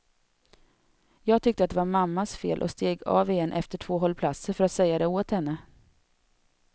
Jag tyckte att det var mammas fel och steg av igen efter två hållplatser, för att säga det åt henne.